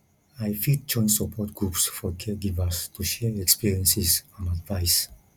i fit join support groups for caregivers to share experiences and advice